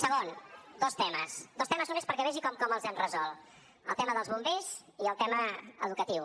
segon dos temes dos temes només perquè vegi com els hem resolt el tema dels bombers i el tema educatiu